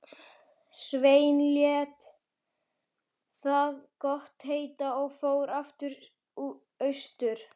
Sveinn lét það gott heita og fór aftur austur.